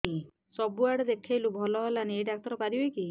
ସବୁଆଡେ ଦେଖେଇଲୁ ଭଲ ହେଲାନି ଏଇ ଡ଼ାକ୍ତର ପାରିବେ କି